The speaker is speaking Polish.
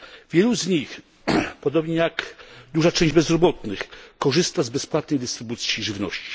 Wielu z nich, podobnie jak duża część bezrobotnych, korzysta z bezpłatnej dystrybucji żywności.